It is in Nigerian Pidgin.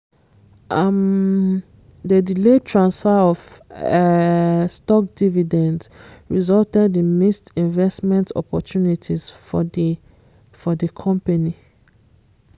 um the delayed transfer of um stock dividends resulted in missed investment opportunities for the for the company.